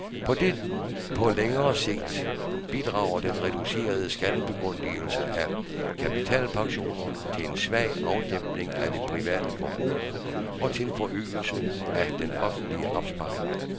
På længere sigt bidrager den reducerede skattebegunstigelse af kapitalpensionerne til en svag afdæmpning af det private forbrug og til en forøgelse af den offentlige opsparing.